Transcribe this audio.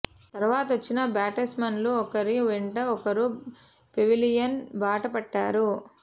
తర్వాత వచ్చిన బ్యాట్స్మెన్లు ఒకరి వెంట ఒకరు పెవిలియన్ బాట పట్టారు